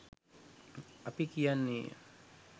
අපි කියන්නේය.